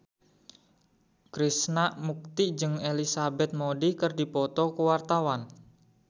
Krishna Mukti jeung Elizabeth Moody keur dipoto ku wartawan